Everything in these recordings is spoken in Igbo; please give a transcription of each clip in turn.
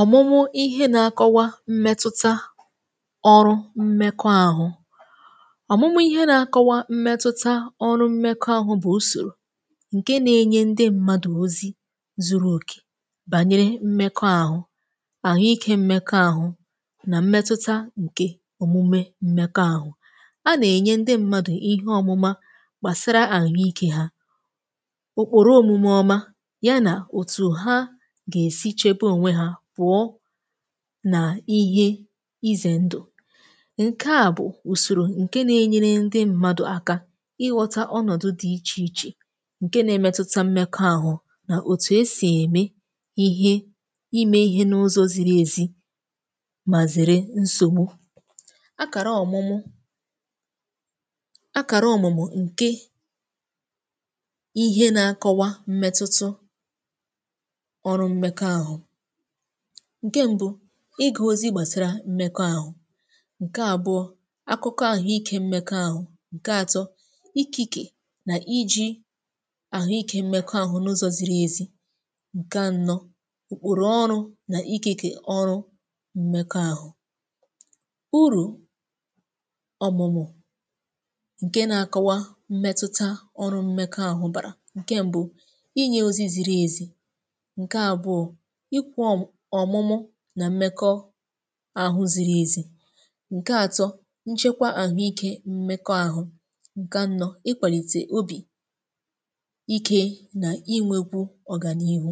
Ọ̀mụ̀mụ̀ ihe nà-akọwa mmetụta ọrụ mmekọȧhụ̇, ọ̀mụ̀mụ̀ ihe nà-akọwa mmetụta ọrụ mmekọ̇ ȧhụ̇, bụ̀ ùsòrò ǹke nà-enye ndị mmadụ̀ ozi zuru òkè bànyere mmekọ ȧhụ̇, àhụ ikė mmekọ ȧhụ̇, nà mmetụta ǹke òmume mmekọ̇ ȧhụ̇. A nà-enye ndị mmadụ̀ ihe ọ̇mụ̇ma gbàsara àhụ ikė hȧ, okporo-òmume ọma ya nà òtù ha gà-esi chebe onwe ha pụọ̀ nà ihe izè ndụ̀. Ǹke à bụ̀ ùsòrò ǹke nà-enyere ndị mmadụ̀ aka ịghọ̇ta ọnọ̀dụ̀ dị iche-iche ǹke nà-emetuta mmekọ̇ àhụ̀, nà òtù esì ème ihe, imē ihe n’ụzọ̇ ziri ezi mà zèrè nsògbu. Àkàrà ọ̀mụ̀mụ̀ àkàrà ọ̀mụ̀mụ̀ ǹke ihe nà-akọwa mmetutu, ọrụ mmekoahu: ǹke mbu̇, ịgà ozi gbàsàrà mmekọ ȧhụ̇; ǹke àbụọ̄, akụkọ àhụikė mmekọ ȧhụ̇; ǹke atọ, ikike nà iji àhụikė mmekọ àhụ̇ n’ụzọ̇ ziri ezi; ǹke anọ, okpòrò ọrụ nà ikėkè ọrụ mmekọ ȧhụ̇. Ụrù ọ̀mụ̀mụ̀ ǹke nà-akọwa mmetuta ọrụ mmekọ àhụ̇ bàrà: ǹke mbu̇, inye ozi ziri ezi; ǹke àbụọ̄, ikwu ọmụ̀mụ̀ nà mmekọ àhụ̇ ziri ezi; ǹke atọ, nchekwa ahụike mmekọ àhụ̇; ǹke anọ, ikwalite obì-ike nà inwe kwu-ọgà n’ihu.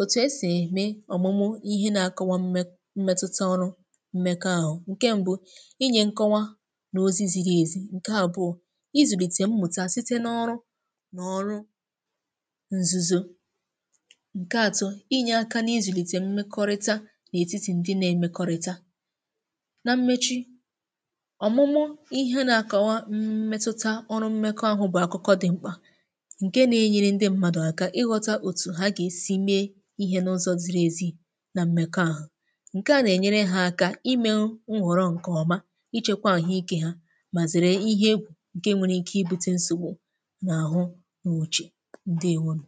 Òtù esì eme ọ̀mụ̀mụ̀ ihe nȧ-akọwa mmetuta ọrụ mmekọ àhụ̇: ǹke mbu̇, inye nkọwa n’ozi ziri ezi; ǹke àbụọ̄, izùlite mmụ̀ta site n’ọrụ nà ọrụ nzuzo; ǹke atọ, inye aka nà izùlite mmekọrịta n’etiti ndi nà-emekorita. Nà mmechi, ọ̀mụ̀mụ̀ ihe nà-àkọwa mmetuta ọrụ mmekọ àhụ̇, bụ̀ akụkọ dị̇ mkpà, ǹke nà-enyere ndị mmadụ̀ aka ịghọta òtù ha gà-esi mee ihe n’ụzọ̇ ziri ezi, nà m̀mèkọ àhụ̇. Ǹke à nà-ènyere ha aka imē nhọ̀rọ̀ ǹkè ọma, ichekwa àhụ ike hȧ, mà zèrè ihe egwù ǹke nwere ike ibu̇tė nsògbu n’àhụ nwòchì. Ǹdéèwònù.